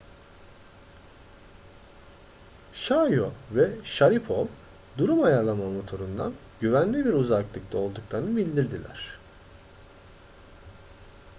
chiao ve sharipov durum ayarlama motorundan güvenli bir uzaklıkta olduklarını bildirdiler